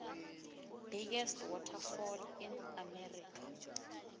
biggest waterfall in america